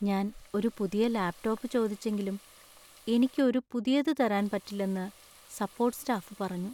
ഞാൻ ഒരു പുതിയ ലാപ് ടോപ് ചോദിച്ചെങ്കിലും എനിക്ക് ഒരു പുതിയത് തരാൻ പറ്റില്ലെന്നു സപ്പോർട്ട് സ്റ്റാഫ് പറഞ്ഞു.